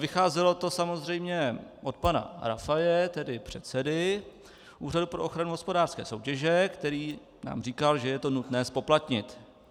Vycházelo to samozřejmě od pana Rafaje, tedy předsedy Úřadu pro ochranu hospodářské soutěže, který nám říkal, že je to nutné zpoplatnit.